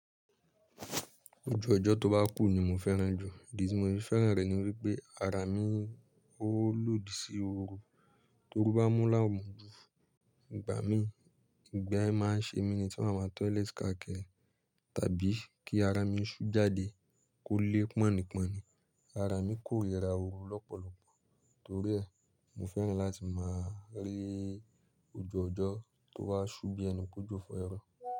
Ojú ọjọ tó bá cool ni mo fẹ́ràn jù. Ìdí tí mo fi fẹ́ràn rẹ ni wípé ara mi ò lòdì sí òru, tooru bá mu la mu jù ìgbà míì igbẹ máa ń ṣe mi ní ti maa maa toilet káàkiri tàbí kí ara mi ṣu jáde kó lè pannipanni. Ara mi kórira òru lọpọlọpọ, torí ẹ, mo fẹ́ràn láti ma rí ojú ọjọ́ tó wà ṣu bí ẹni pé òjò fẹ rọ.